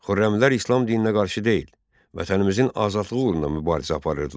Xürrəmilər İslam dininə qarşı deyil, vətənimizin azadlığı uğrunda mübarizə aparırdılar.